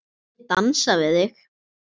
Má ég dansa við þig?